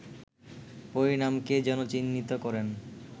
পরিণামকেই যেন চিহ্নিত করেন